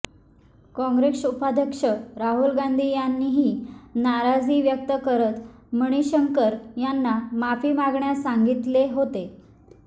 काँग्रेस उपाध्यक्ष राहुल गांधी यांनीही नाराजी व्यक्त करत मणिशंकर यांना माफी मागण्यास सांगितले होते